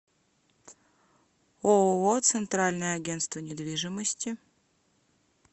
ооо центральное агентство недвижимости